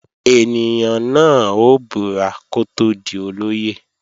Ènìyàn náà ó búra kó tó di olóyè